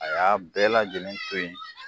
A y'a bɛɛ lajɛlen to yen